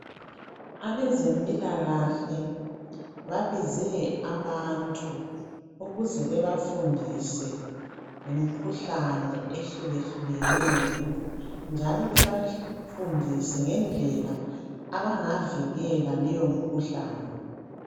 Abezempilakahle babize abantu ukuze bebafundise ngemkhuhlane ehlukahlukeneyo, njalo bebafundise ngendlela abangavikela leyo mkhuhlane.